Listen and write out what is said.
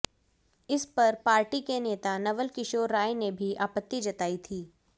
इस पर पार्टी के नेता नवल किशोर राय ने भी आपत्ति जताई थी